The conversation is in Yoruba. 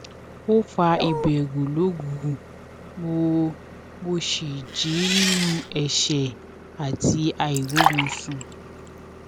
ó fa ìbèrù lóru mo mo sì jí nínú ẹṣẹ àti àìróorunsun